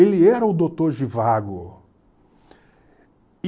Ele era o doutor Zhivago.